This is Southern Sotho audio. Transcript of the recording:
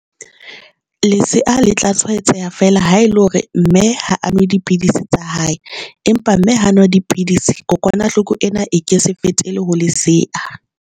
Lesea le tla tshwaetseha fela ha ele hore mme ha a nwa dipidisi tsa hae, empa mme ha nwa dipidisi. Kokwanahloko ena e ke se fetele ho lesea.